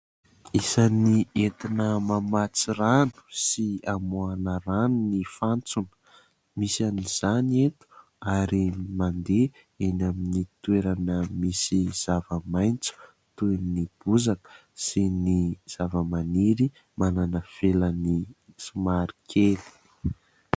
Isany entina mamatsy rano sy hamoahana rano ny fantsona misy an'izany eto ary mandeha eny amin'ny toerana misy zava-maitso toy ny bozaka sy ny zavamaniry manana felany somary kely.